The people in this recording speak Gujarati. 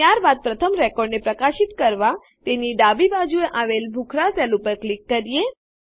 ત્યાર બાદ પ્રથમ રેકોર્ડને પ્રકાશિત કરવા તેની ડાબી બાજુએ આવેલ ભૂખરા સેલ ઉપર ક્લિક કરીએ